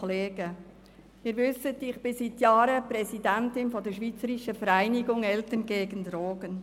Wie Sie wissen, bin ich seit Jahren Präsidentin der «Schweizerischen Vereinigung Eltern gegen Drogen».